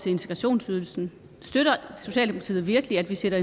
integrationsydelsen støtter socialdemokratiet virkelig at vi sætter